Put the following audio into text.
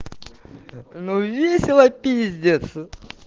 ну весело пиздец